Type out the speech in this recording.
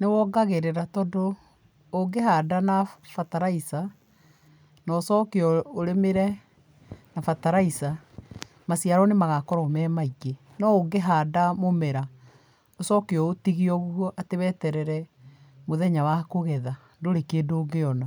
Nĩ wongagĩrĩra tondũ, ũngĩhanda na bataraitha, na ũcoke ũrĩmĩre na bataraitha, maciaro nĩ magakorwo me maingĩ. No ũngĩhanda mũmera ũcoke ũũtige ũguo weterere mũthenya wa kũhanda, ndũrĩ kindũ ũngĩona.